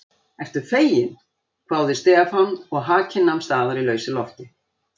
Ertu feginn? hváði Stefán og hakinn nam staðar í lausu lofti.